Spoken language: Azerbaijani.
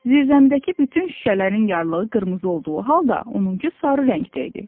Zirzəmidəki bütün şüşələrin yarlığı qırmızı olduğu halda, onunku sarı rəngdə idi.